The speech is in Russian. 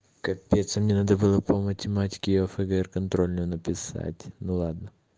капец мне надо было по математике и о фгр контрольную написать ну ладно